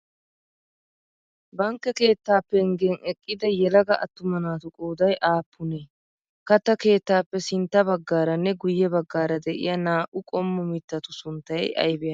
Bankke keetta penggen eqqida yelaga attuma naatu qooday aappunee? Katta keettaappe sintta baggaranne guyye baggara de'iya naa'u qommo mittatu suntay aybe aybe?